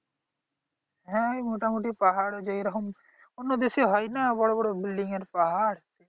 হ্যাঁ মোটামুটি ওই পাহাড় যেরকম অন্য দেশে হয় না যেমন বড় বড় building এর পাহাড়